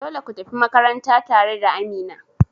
Dole kutafi makaranta tare da Amina.